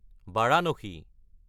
Varanasi